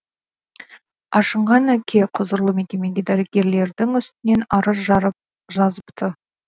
ашынған әке құзырлы мекемеге дәрігерлердің үстінен арыз жазыпты